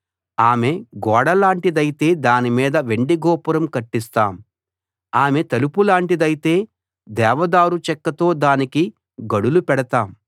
ఆమె గోడలాంటిదైతే దానిమీద వెండి గోపురం కట్టిస్తాం ఆమె తలుపులాంటిదైతే దేవదారు చెక్కతో దానికి గడులు పెడతాం